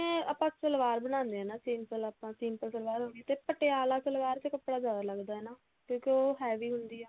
ਆਪਾਂ ਸਲਵਾਰ ਬਣਾਉਂਦੇ ਹਾਂ ਨਾ simple ਆਪਾਂ simple ਸਲਵਾਰ ਤੇ ਪਟਿਆਲਾ ਸਲਵਾਰ ਚ ਕੱਪੜਾ ਜ਼ਿਆਦਾ ਲਗਦਾ ਹਣਾ ਕਿਉਂਕਿ ਉਹ heavy ਹੁੰਦੀ ਆ